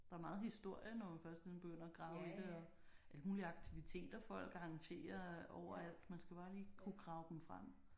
Der er meget historie når man først ligesom og begynder at grave i det og alt muligt aktiviteter folk arrangerer overalt man skal bare lige kunne grave dem frem